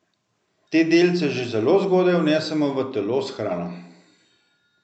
Te delce že zelo zgodaj vnesemo v telo s hrano.